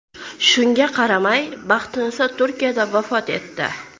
Shunga qaramay, Baxtiniso Turkiyada vafot etdi.